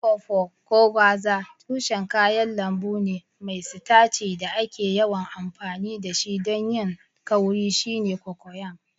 Okpor: Ko gwaza, tushen kayan lambu ne mai sitaci da ake yawan amfani da shi don yin kauri shine cocoyam.